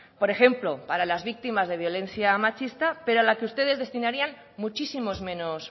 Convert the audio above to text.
por ejemplo para las víctimas de violencia machista pero a la que ustedes destinarían muchísimos menos